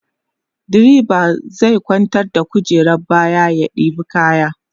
driba zai kwantar da kujerar baya ya ɗeba kaya